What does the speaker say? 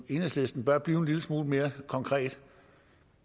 enhedslisten bør blive en lille smule mere konkret